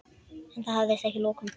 En það hafðist að lokum.